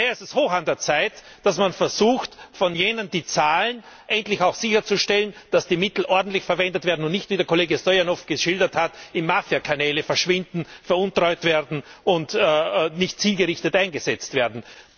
Daher ist es hoch an der Zeit, dass man versucht, für jene, die zahlen, endlich auch sicherzustellen, dass die Mittel ordentlich verwendet werden, und nicht, wie der Kollege Stoyanov geschildert hat, in Mafiakanälen verschwinden, veruntreut oder nicht zielgerichtet eingesetzt werden.